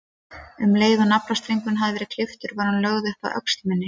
Um leið og naflastrengurinn hafði verið klipptur var hún lögð upp að öxl minni.